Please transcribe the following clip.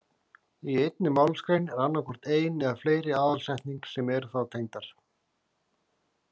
Í einni málsgrein er annað hvort ein eða fleiri aðalsetning sem eru þá tengdar.